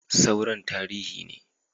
Sauran tarihi ne